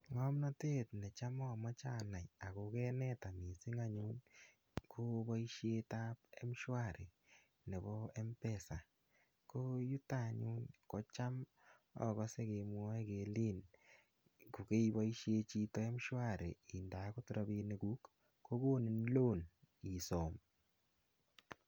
Ngomnotet netam omoche anai Ako kanetan missing anyun ko boishetab mshwari nebo m-pesa ko yiluton anyun kotam okose kemwoe kelen ko keboishen chito mshwari inde okot rabishek kuk kokonin loan isom.